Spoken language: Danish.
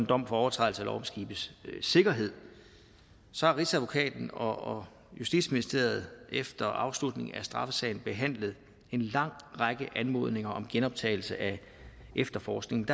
dom for overtrædelse af lov om skibes sikkerhed rigsadvokaten og justitsministeriet har efter afslutningen af straffesagen behandlet en lang række anmodninger om genoptagelse af efterforskningen